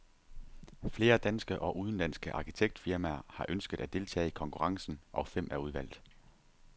Flere danske og udenlandske arkitektfirmaer har ønsket at deltage i konkurrencen, og fem er udvalgt.